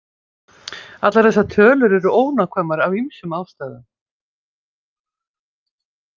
Allar þessar tölur eru ónákvæmar af ýmsum ástæðum.